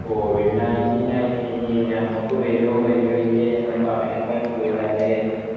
covid ninteen ഇനി നമ്മക്ക് വരൂഓ വരൂ ഇല്ലയോ എന്ന് പറയാൻ പറ്റൂല അല്ലെ